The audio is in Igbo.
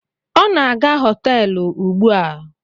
O na-aga hoteelu ugbua